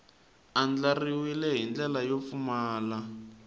andlariwile hi ndlela yo pfumala